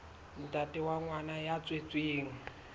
ntate wa ngwana ya tswetsweng